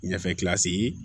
Ɲɛfɛ